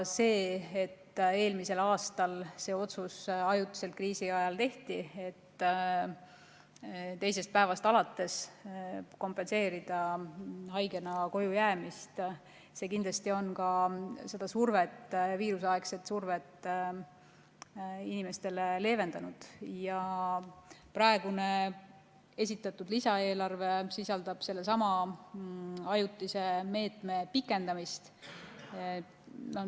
See, et eelmisel aastal see otsus kriisi ajal tehti, et teisest päevast alates kompenseerida haigena koju jäämist, see kindlasti on seda viiruseaegset survet inimestele leevendanud ja praegune esitatud lisaeelarve sisaldab sellesama ajutise meetme pikendamist.